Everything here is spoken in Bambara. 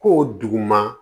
Ko duguma